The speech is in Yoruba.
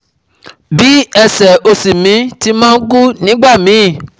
Bí ẹsẹ̀ òsì mi tí ma ń ku nígbà míì